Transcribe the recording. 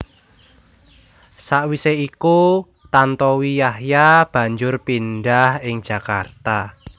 Sawisé iku Tantowi Yahya banjur pindah ing Jakarta